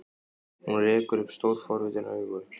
Hún rekur upp stór, forvitin augu.